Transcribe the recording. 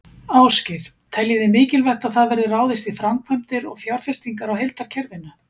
Ásgeir: Teljið þið mikilvægt að það verði ráðist í framkvæmdir og fjárfestingar á heildarkerfinu?